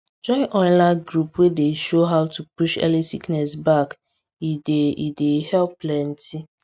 join online group wey dey show how to push early sickness back e dey e dey help plenty